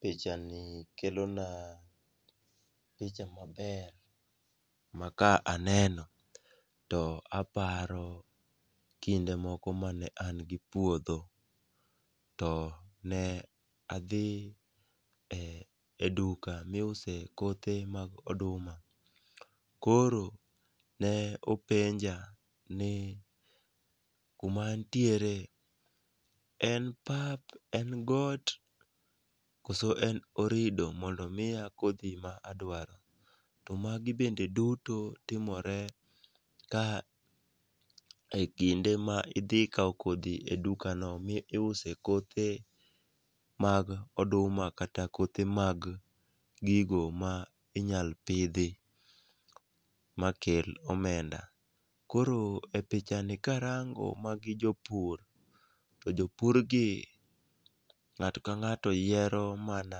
Pichani kelona picha maber ma ka aneno to aparo kinde moko mane an gi puodho, to ne adhi e duka miuse kothe mag oduma. Koro ne openja ni kuma antiere en pap, en got koso en orido mondo omiya kodhi ma adwaro, to magi bende duto timore ka e kinde ma idhi kawo kodhi e dukano miuse kothe mag oduma kata kothe mag gigo ma inyalo pidhi, makel omenda. Koro e pichani karango, magi jopur, to jopurgi ng'ato ka ng'ato yiero mana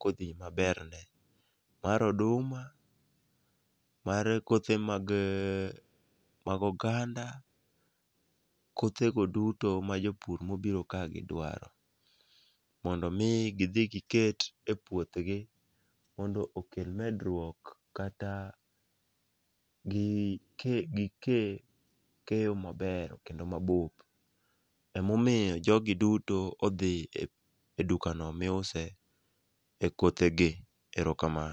kodhi maberne, mar oduma, mar kothe mag oganda. Kothego duto ma japur mobiro kagi dwaro. Mondo omi giket e puothgi mondo okel medruok kata gike keyo mabeyo kendo mabop. Emomiyo jogi dutoodhi e dukano miuse kothegi. Erokamano.